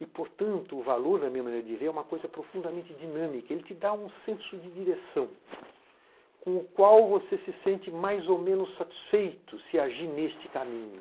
E, portanto, o valor, da minha maneira de ver, é uma coisa profundamente dinâmica, ele te dá um senso de direção, com o qual você se sente mais ou menos satisfeito se agir neste caminho.